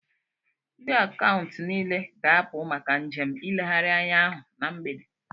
Ndị Akaụntụ niile ga-apụ maka njem ileghari anya ahụ na mgbede